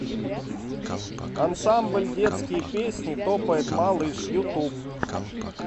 ансамбль детские песни топает малыш ютуб